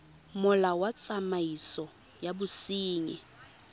molao wa tsamaiso ya bosenyi